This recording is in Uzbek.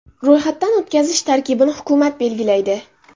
Ro‘yxatdan o‘tkazish tartibini hukumat belgilaydi.